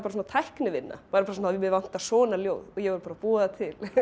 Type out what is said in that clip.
tæknivinna mig vantar svona ljóð og ég verð að búa það til